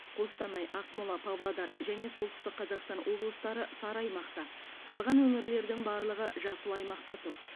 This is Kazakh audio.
қостанай ақмола павлодар және солтүстік қазақстан облыстары сары аймақта қалған өңірлердің барлығы жасыл аймақта тұр